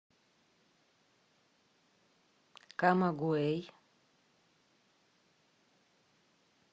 камагуэй